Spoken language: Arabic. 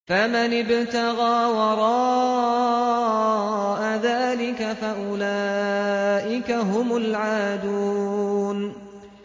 فَمَنِ ابْتَغَىٰ وَرَاءَ ذَٰلِكَ فَأُولَٰئِكَ هُمُ الْعَادُونَ